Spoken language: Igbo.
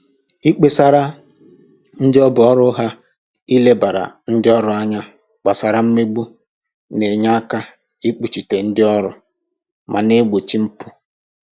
Ikpesara ndị ọ bụ ọrụ ha ilebara ndị ọrụ anya gbasara mmegbu na-enye aka ikpuchite ndị ọrụ ma na-egbochi mpụ